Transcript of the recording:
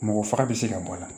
Mɔgɔ faga bɛ se ka bɔ a la